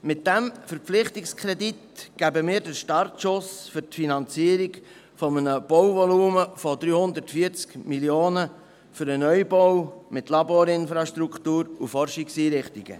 Mit diesem Verpflichtungskredit geben wir den Startschuss für die Finanzierung eines Bauvolumens von 340 Mio. Franken für einen Neubau mit Laborinfrastruktur und Forschungseinrichtungen.